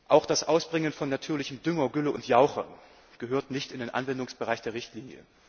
Auch das Ausbringen von natürlichem Dünger, Gülle und Jauche gehört nicht in den Anwendungsbereich dieser Richtlinie.